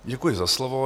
Děkuji za slovo.